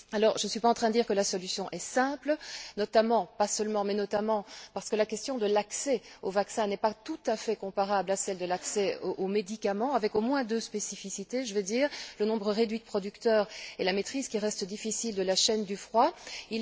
Je ne suis pas en train de dire que la solution est simple, notamment pas seulement, mais notamment parce que la question de l'accès au vaccin n'est pas tout à fait comparable à celle de l'accès aux médicaments, avec au moins deux spécificités le nombre réduit de producteurs et la maîtrise de la chaîne du froid qui reste difficile.